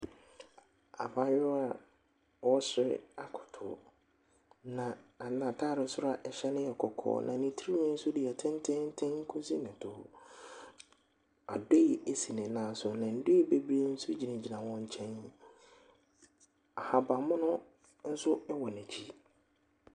Abaayewa a ɔresere akoto, ne na n’ataade soro a ɛhyɛ no yɛ kɔkɔɔ na ne tirihwi nso deɛ tententen kɔsi ne to. Adoe si ne nan so na ndoe bebree nso gyina wɔn nkyɛn. ahabanmono nso wɔ n’akyi.